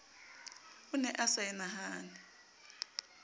o ne a sa enahane